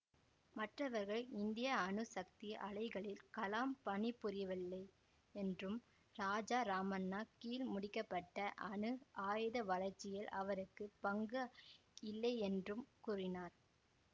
மற்றவர்கள் இந்திய அணு சக்தி ஆலைகளில் கலாம் பணிபுரியவில்லையென்றும் ராஜா ராமண்ணா கீழ் முடிக்க பட்ட அணு ஆயுத வளர்ச்சியில் அவருக்கு பங்கு இல்லையென்றும் கூறினார்